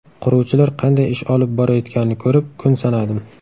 Quruvchilar qanday ish olib borayotganini ko‘rib, kun sanadim.